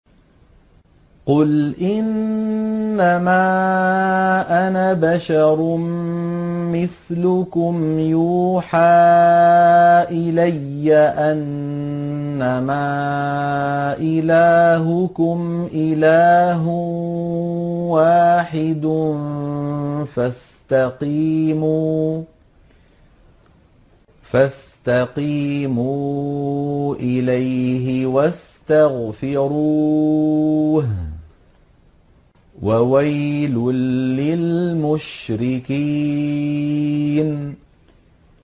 قُلْ إِنَّمَا أَنَا بَشَرٌ مِّثْلُكُمْ يُوحَىٰ إِلَيَّ أَنَّمَا إِلَٰهُكُمْ إِلَٰهٌ وَاحِدٌ فَاسْتَقِيمُوا إِلَيْهِ وَاسْتَغْفِرُوهُ ۗ وَوَيْلٌ لِّلْمُشْرِكِينَ